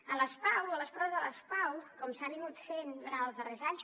a les pau a les proves de les pau com s’ha fet durant els darrers anys